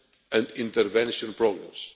and intervention programmes.